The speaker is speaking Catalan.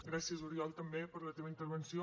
gràcies oriol també per la teva intervenció